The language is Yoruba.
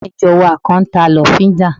Ará ìjọ wa kan n ta lọ́fíndà